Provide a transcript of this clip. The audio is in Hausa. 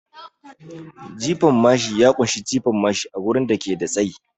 Jifan mashi ya kunshi jefa mashi a wurin da ke da tsayi